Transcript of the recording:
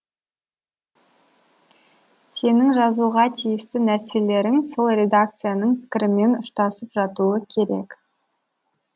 сенің жазуға тиісті нәрселерің сол редакцияның пікірімен ұштасып жатуы керек